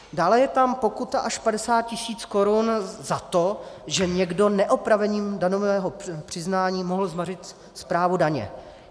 Dále je tam pokuta až 50 tisíc korun za to, že někdo neopravením daňového přiznání mohl zmařit správu daně.